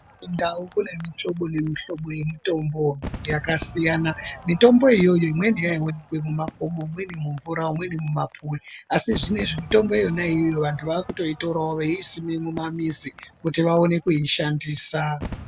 Mundau mune mihlobo nemihlobo yemitombo yakasiyana mitombo iyi imweni yaiwoneke kumakomo imweni mumvura imweni mumapuwe asi zvinozvi yakusimwe mumamizi kuti vaone kuishandisa .